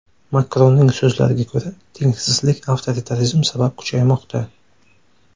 Makronning so‘zlariga ko‘ra, tengsizlik avtoritarizm sabab kuchaymoqda.